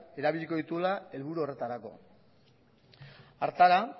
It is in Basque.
erabiliko dituela helburu horretarako hartara